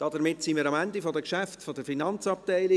Damit sind wir am Ende der Geschäfte der FIN angelangt.